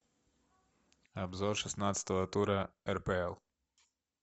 обзор шестнадцатого тура рпл